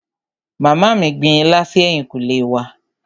Màmá mí gbin ilá si ẹ̀yìnkùlé wa.